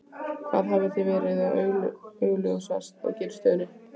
Hvað hefði þá verið augljósast að gera í stöðunni?